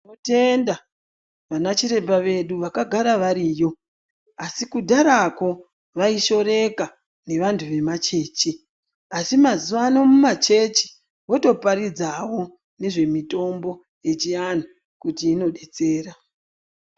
Tinotenda vana chiremba vedu vakagara variyo asi kudharako vaishiorwka nevantu vemachechi asi mazuvano mumachechi votoparidza havo nezvemitombo yechiantu kuti inodetsera.